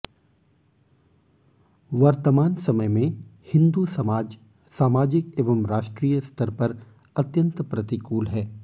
वर्तमान समयमें हिंदू समाज सामाजिक एवं राष्ट्रीय स्तरपर अत्यंत प्रतिकूल है